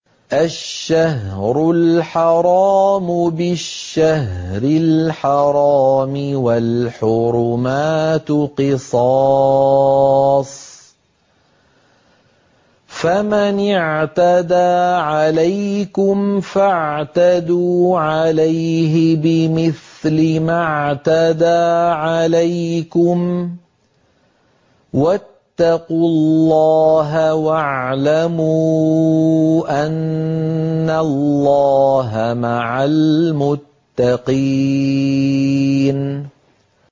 الشَّهْرُ الْحَرَامُ بِالشَّهْرِ الْحَرَامِ وَالْحُرُمَاتُ قِصَاصٌ ۚ فَمَنِ اعْتَدَىٰ عَلَيْكُمْ فَاعْتَدُوا عَلَيْهِ بِمِثْلِ مَا اعْتَدَىٰ عَلَيْكُمْ ۚ وَاتَّقُوا اللَّهَ وَاعْلَمُوا أَنَّ اللَّهَ مَعَ الْمُتَّقِينَ